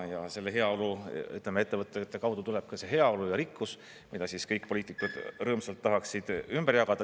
Ja selle heaolu, ütleme, ettevõtete kaudu tuleb ka see heaolu ja rikkus, mida kõik poliitikud rõõmsalt tahaksid ümber jagada …